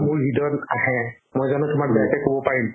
মোৰ হৃদয়ত আহে মই জানো তুমাক বেয়াকে ক'ব পাৰিম